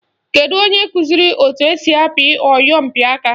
Kedu onye kụziri etu esi apị oyompịaka?